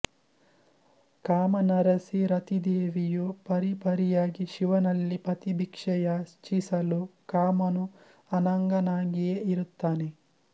ಕಾಮನರಸಿ ರತಿದೇವಿಯು ಪರಿಪರಿಯಾಗಿ ಶಿವನಲ್ಲಿ ಪತಿಭಿಕ್ಷೆ ಯಾಚಿಸಲು ಕಾಮನು ಅನಂಗನಾಗಿಯೇ ಇರುತ್ತಾನೆ